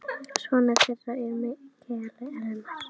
Sonur þeirra er Mikael Elmar.